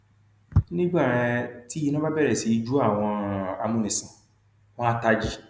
nígbà um tí iná bá bẹrẹ sí í jó àwọn um amúnisìn wọn àá tají